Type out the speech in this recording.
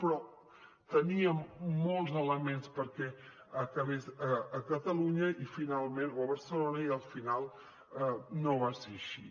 però teníem molts elements perquè acabés a catalunya o a barcelona i al final no va ser així